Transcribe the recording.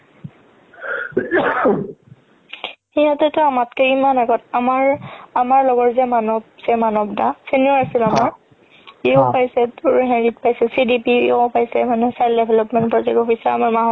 সিহতেতো আমাতকে কিমান আগৰ আমাৰ লগৰ যে মানব যে মানব দা senior আছিলে আমাৰ সিও পাইছে হৰিত পাইছে CDPO পাইছে মানে child development project officer আমাৰ মা